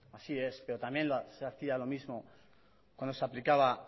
así es pero también se hacía lo mismo cuando se aplicaba